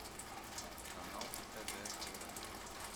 канал эгэ тв